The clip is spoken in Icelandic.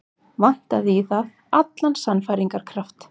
Vantaði í það allan sannfæringarkraft.